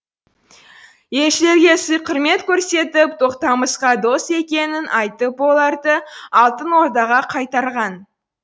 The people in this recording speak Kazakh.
елшілерге сый құрмет көрсетіп тоқтамысқа дос екенін айтып оларды алтын ордаға қайтарған